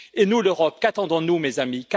Et nous, l'Europe, qu'attendons nous, mes amis?